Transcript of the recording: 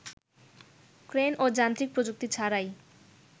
crane ও যান্ত্রিক প্রযুক্তি ছাড়াই